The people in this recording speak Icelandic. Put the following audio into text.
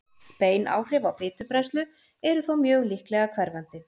Bein áhrif á fitubrennslu eru þó mjög líklega hverfandi.